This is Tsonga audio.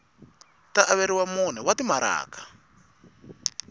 ta averiwa mune wa timaraka